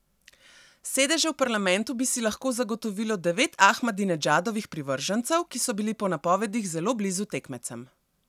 Sedeže v parlamentu bi si lahko zagotovilo devet Ahmadinedžadovih privržencev, ki so bili po napovedih zelo blizu tekmecem.